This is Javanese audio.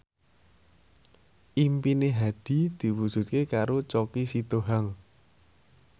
impine Hadi diwujudke karo Choky Sitohang